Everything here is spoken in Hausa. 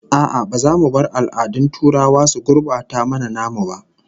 A'a, ba za mu bar al'adun turawa su gurbata mana namu ba